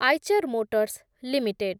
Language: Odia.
Eicher motors limited